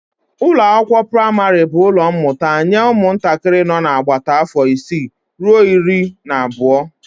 Ụlọakwụkwọ praịmarị bụ ụlọ mmụta nye ụmụntakịrị nọ n'agbata afọ isii ruo iri na abụọ